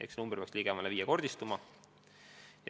Nii et see arv peaks ligemale viiekordistuma.